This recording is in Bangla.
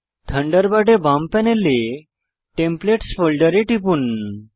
থান্ডারবার্ড বাম প্যানেলে টেমপ্লেটস ফোল্ডারে টিপুন